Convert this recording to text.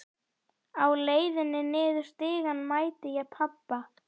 Á leiðinni niður stigann mæti ég pabba.